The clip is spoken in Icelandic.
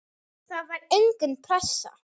Það var engin pressa.